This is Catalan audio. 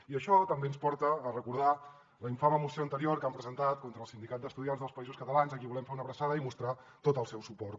i això també ens porta a recordar la infame moció anterior que han presentat contra el sindicat d’estudiants dels països catalans a qui volem fer una abraçada i mostrar tot el suport